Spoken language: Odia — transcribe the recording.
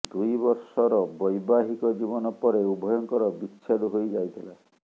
ଦୁଇ ବର୍ଷର ବ୘ବାହିକ ଜୀବନ ପରେ ଉଭୟଙ୍କର ବିଚ୍ଛେଦ ହୋଇ ଯାଇଥିଲା